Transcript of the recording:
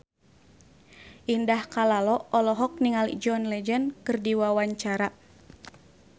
Indah Kalalo olohok ningali John Legend keur diwawancara